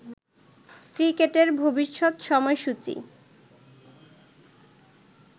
ক্রিকেটের ভবিষ্যৎ সময়সূচি